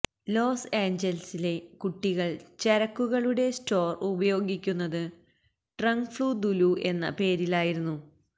loss ഏഞ്ചലസിലെ കുട്ടികൾ ചരക്കുകളുടെ സ്റ്റോർ ഉപയോഗിക്കുന്നത് ട്രങ്ക്ഫ്ളൂ ദുലൂ എന്ന പേരിലായിരുന്നു